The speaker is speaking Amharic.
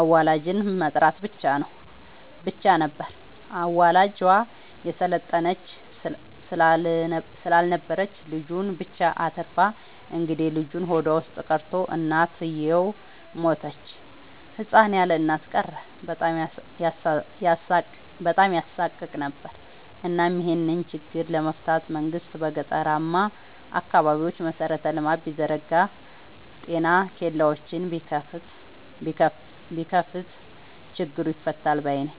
አዋላጅ መጥራት ብቻ ነበር። አዋላጇ የሰለጠነች ስላልነበረች ልጁን ብቻ አትርፋ እንግዴልጁ ሆዷ ውስጥ ቀርቶ እናትየው ሞተች ህፃን ያለእናት ቀረ በጣም ያሳቅቅ ነበር እናም ይሄን ችግር ለመፍታት መንግስት በገጠራማ አካባቢዎች መሰረተ ልማት ቢዘረጋ ጤና ኬላዎችን ቢከፋት ችግሩ ይፈታል ባይነኝ።